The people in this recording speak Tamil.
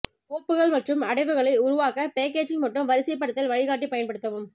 கோப்புகள் மற்றும் அடைவுகளை உருவாக்க பேக்கேஜிங் மற்றும் வரிசைப்படுத்தல் வழிகாட்டி பயன்படுத்தவும்